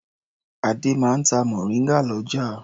Adé máa ń ta mòríngà lọ́jà.